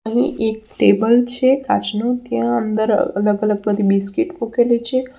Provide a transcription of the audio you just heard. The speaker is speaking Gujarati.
અહીં એક ટેબલ છે કાચનું ત્યાં અંદર અલગ-અલગ બધી બિસ્કીટ મુકેલી છે.